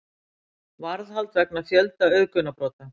Varðhald vegna fjölda auðgunarbrota